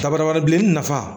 Dabara wɛrɛ bilenni nafa